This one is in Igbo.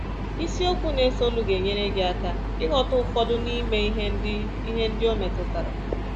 Isiokwu na-esonụ ga-enyere gị aka ịghọta ụfọdụ n’ime ihe ndị ihe ndị o metụtara